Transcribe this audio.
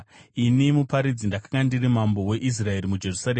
Ini muparidzi ndakanga ndiri mambo weIsraeri muJerusarema.